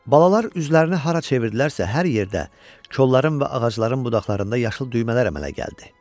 Balalar üzlərini hara çevirdilərsə hər yerdə kolların və ağacların budaqlarında yaşıl düymələr əmələ gəldi.